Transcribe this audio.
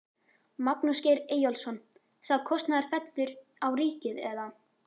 Magnús Geir Eyjólfsson: Sá kostnaður fellur á ríkið eða?